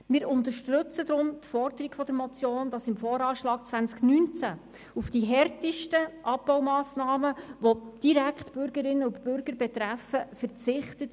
Wir unterstützen deshalb die Forderung der Motion, wonach im Voranschlag 2019 auf die härtesten Abbaumassnahmen, welche Bürgerinnen und Bürger direkt betreffen, zu verzichten ist.